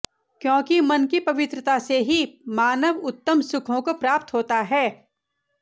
क्योंकि मन की पवित्रता से ही मानव उत्तम सुखों को प्राप्त होता है